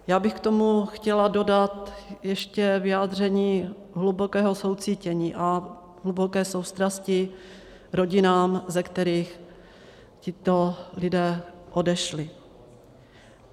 Já bych k tomu chtěla dodat ještě vyjádření hlubokého soucítění a hluboké soustrasti rodinám, ze kterých tito lidé odešli.